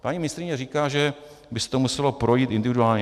Paní ministryně říká, že by se to muselo projít individuálně.